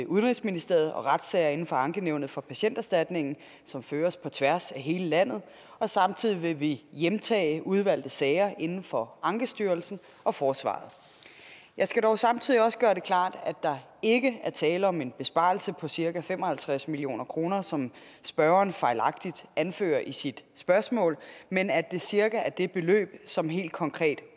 udenrigsministeriet og retssager inden for ankenævnet for patienterstatningen som føres på tværs af hele landet og samtidig vil vi hjemtage udvalgte sager inden for ankestyrelsen og forsvaret jeg skal dog samtidig også gøre det klart at der ikke er tale om en besparelse på cirka fem og halvtreds million kr som spørgeren fejlagtigt anfører i sit spørgsmål men at det cirka er det beløb som helt konkret